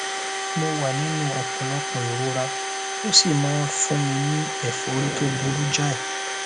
mo wà nínú ọpọlọpọ ìrora ó sì máa ń fún mi ní ẹfọrí tó burú jáì